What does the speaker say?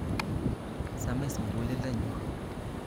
Samis mugulelda'ngyuk